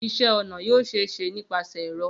Iṣẹ-ọna yoo ṣee ṣe nipasẹ ẹrọ